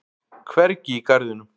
Hvergi í garðinum.